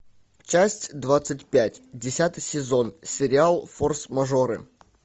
часть двадцать пять десятый сезон сериал форс мажоры